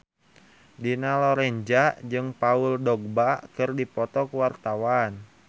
Dina Lorenza jeung Paul Dogba keur dipoto ku wartawan